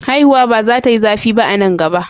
Haihuwar ba za ta yi zafi ba a nan gaba.